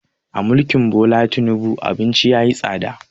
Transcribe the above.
A mulkin Bola Tinubu abinci yayi tsada